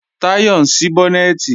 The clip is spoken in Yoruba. Táyọ̀ ń ṣí bọ́nẹ̀tì